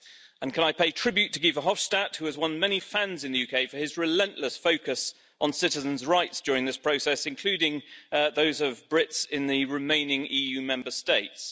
And can I pay tribute to Guy Verhofstadt, who has won many fans in the UK for his relentless focus on citizens' rights during this process including those of Brits in the remaining EU Member States.